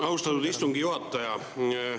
Austatud istungi juhataja!